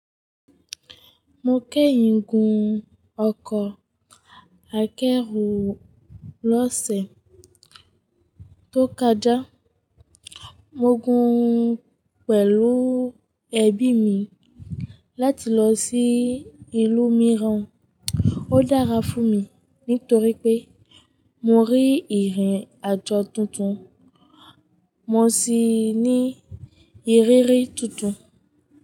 Mo kẹ́yìn gún ọkọ̀ akẹ́rù lọ́sẹ̀ tó kọjá. Mo gùn pẹ̀lú ẹbí mi láti lọ sí ìlú mìíràn. Ó dára fún mi nítorí pé mo rí ìrìn àjọ tuntun, mo sì ní ìrírí tuntun.